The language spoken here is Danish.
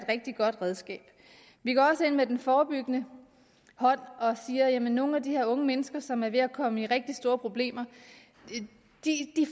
rigtig godt redskab vi går ind med en forebyggende hånd nogle af de her unge mennesker som er ved at komme ud i rigtig store problemer